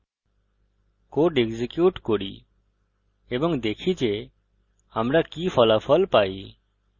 code execute করি এবং দেখি যে আমরা কি ফলাফল পাই